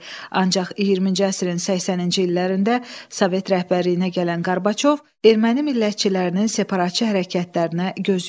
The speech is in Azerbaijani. Ancaq 20-ci əsrin 80-ci illərində Sovet rəhbərliyinə gələn Qarbaçov erməni millətçilərinin separatçı hərəkətlərinə göz yumdu.